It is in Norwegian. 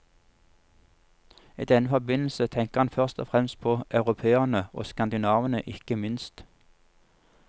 I denne forbindelse tenker han først og fremst på europeerne, og skandinavene ikke minst.